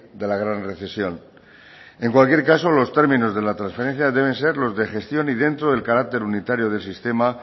de la gran recesión en cualquier caso los términos de la transferencia deben ser los de gestión y dentro del carácter unitario del sistema